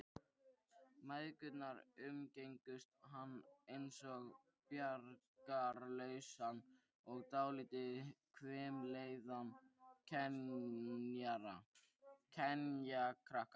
Mæðgurnar umgengust hann einsog bjargarlausan og dálítið hvimleiðan kenjakrakka.